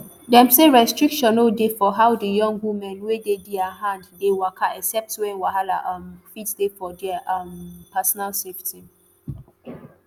dem say restriction no dey for how di young women wey dey dia hand dey waka except wen wahala um fit dey for dia um personal safety